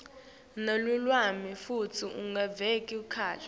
nelulwimi futsi ungevakali